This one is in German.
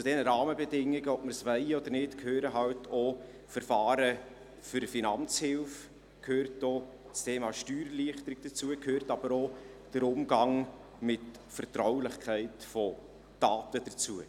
Zu diesen Rahmenbedingungen – ob wir es wollen oder nicht – gehören halt auch Verfahren für Finanzhilfe, dazu gehört auch das Thema Steuererleichterung, aber auch der Umgang mit Vertraulichkeit von Daten gehört dazu.